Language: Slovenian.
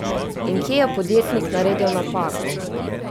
In kje je podjetnik naredil napako?